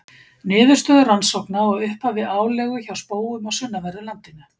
Niðurstöður rannsókna á upphafi álegu hjá spóum á sunnanverðu landinu.